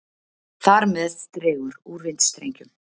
Þar með dregur úr vindstrengjum.